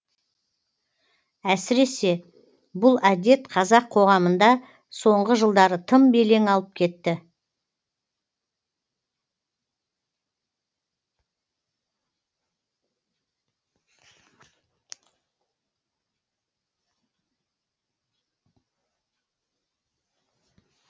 әсіресе бұл әдет қазақ қоғамында соңғы жылдары тым белең алып кетті